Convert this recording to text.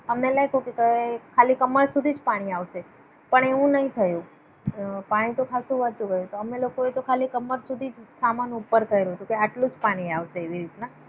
અમને લાગ્યું કે ખાલી કમર સુધી જ પાણી આવશે. પણ એવું નઇ થયુ. પાણી ખાસું વધતું ગયુ અમને લોકોએ ખાલી કમર સુધી જ સામાન ઉપર કર્યો કે આટલું જ પાણી આવશે એવી રીતના.